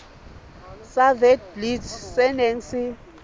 sa witblits se neng se